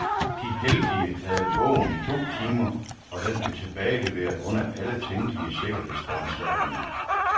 De heldige havde bogen i to timer, og den blev tilbageleveret under alle tænkelige sikkerhedsforanstaltninger.